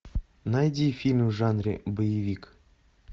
найди фильм в жанре боевик